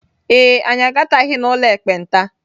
Ee e, anyị agataghị n'ụlọ ekpenta.